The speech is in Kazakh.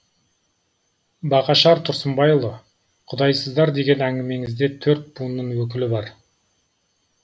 бағашар тұрсынбайұлы құдайсыздар деген әңгімеңізде төрт буынның өкілі бар